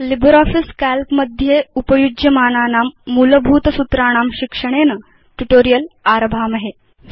LibreOffice Calc मध्ये उपयुज्यमानानां मूलभूत सूत्राणां शिक्षणेन ट्यूटोरियल् आरभामहे